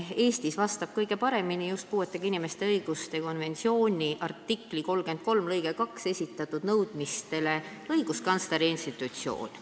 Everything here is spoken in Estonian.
Eestis vastab puuetega inimeste õiguste konventsiooni artikli 33 lõikes 2 esitatud nõudmistele kõige paremini õiguskantsleri institutsioon.